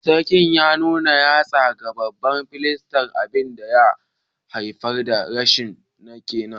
Sarkin ya nuna yatsa ga babban firist, abin da ya haifar da rikicin ke nan